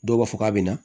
Dɔw b'a fɔ k'a be na